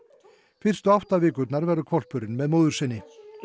fyrstu átta vikurnar verður hvolpurinn með móður sinni